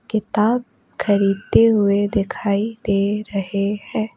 किताब खरीदते हुए दिखाई दे रहे हैं।